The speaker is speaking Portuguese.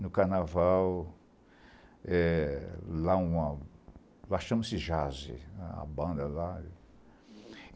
No carnaval... é, Lá chama-se Jazz, a banda lá.